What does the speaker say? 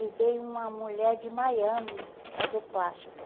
E veio uma mulher de Miami fazer plástica.